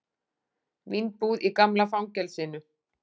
Vínbúð í gamla fangelsinu